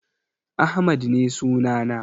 Ahmad ne sunana.